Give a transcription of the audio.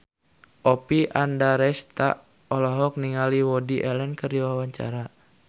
Oppie Andaresta olohok ningali Woody Allen keur diwawancara